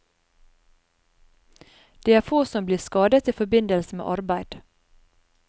Det er få som blir skadet i forbindelse med arbeid.